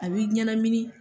A b'i ɲɛnamini.